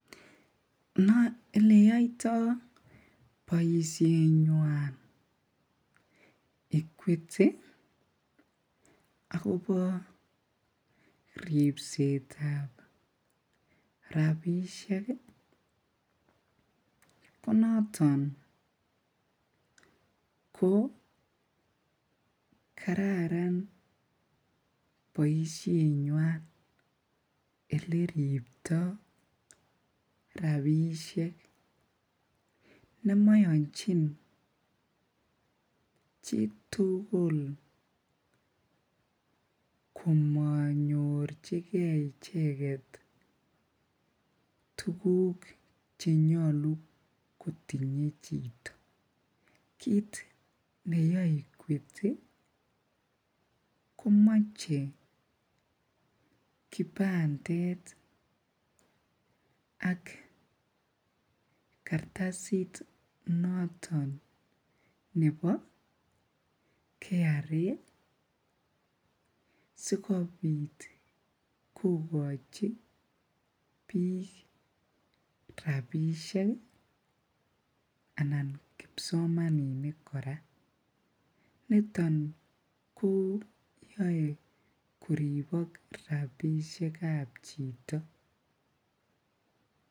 Eleyoito boishenywan equity akobo ribsetab rabishek ko noton ko kararan boishenywan eleribto rabishek nemoyonchin chitukul komonyorchike icheket tukuk chenyolu kotinye chito, kiit neyoe equity komoche kipandet ak kartasit noton nebo KRA sikobit kokochi biik rabishek anan kipsomaninik kora, niton koyoe koribok rabishekab chito.